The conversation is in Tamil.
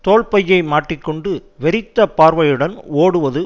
தோள் பையை மாட்டிக்கொண்டு வெறித்த பார்வையுடன் ஓடுவது